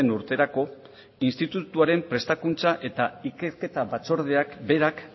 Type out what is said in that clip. urterako institutuaren prestakuntza eta ikerketa batzordeak berak